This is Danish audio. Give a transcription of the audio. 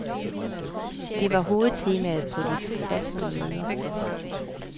Det var hovedtemaet på de første møder.